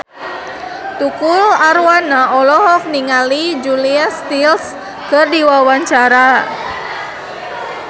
Tukul Arwana olohok ningali Julia Stiles keur diwawancara